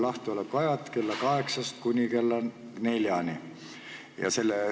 Lahtiolekuajad: 8.00–16.00.